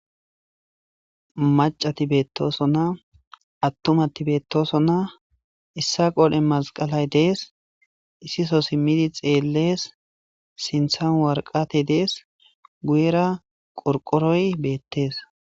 Macati beettoosonna attumati beettosonna issa qoole masqalay dees issiso simmidi xeellees sinthan warqate dees guyera qorqoroy beettes.